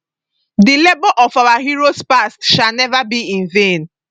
the labour of our heroes past shall never be in vain